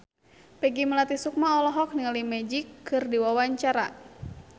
Peggy Melati Sukma olohok ningali Magic keur diwawancara